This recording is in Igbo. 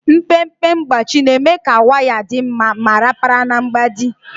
Mpempe mgbachi na-eme ka waya dị mma ma rapara na mgbidi.